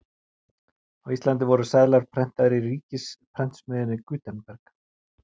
Á Íslandi voru seðlar prentaðir í ríkisprentsmiðjunni Gutenberg.